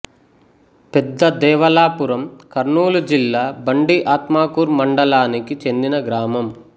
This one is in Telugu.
పెద్ద దేవళాపురం కర్నూలు జిల్లా బండి ఆత్మకూరు మండలానికి చెందిన గ్రామం